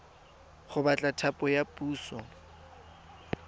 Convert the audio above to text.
go batla thapo ya puso